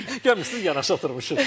Gəlmişik sizlə yanaşı oturmuşuq.